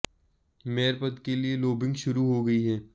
mayor पद के लिए लोबिंग शुरु हो गयी है